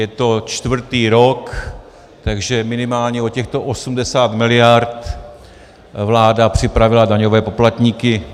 Je to čtvrtý rok, takže minimálně o těchto 80 miliard vláda připravila daňové poplatníky.